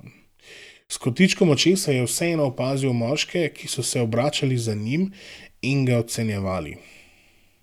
S kotičkom očesa je vseeno opazil moške, ki so se obračali za njim in ga ocenjevali.